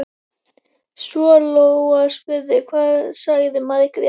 Svo Lóa spurði: Hvað sagði Margrét?